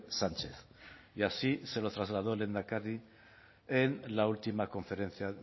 sánchez y así se lo trasladó el lehendakari en la última conferencia